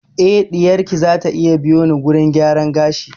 Eh ɗiyar ki zata iya biyo ni wurin gyaran gashi